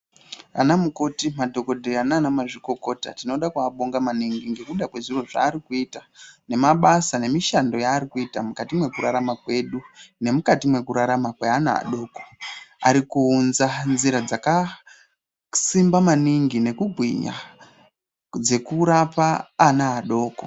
Anamukoti madhokodheya naana mazvikokota tinoda kuabonga maningi ngekuda kwezviro zvaari kuita nabasa nemushando yaari kuita mukati mwekurarama kwedu nemukati mwekurarama kweana adoko ari kuunza nzira dzakasimba maningi nekungwinya dzekurapa ana adoko.